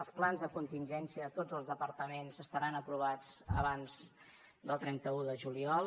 els plans de contingència a tots els departaments estaran aprovats abans del trenta un de juliol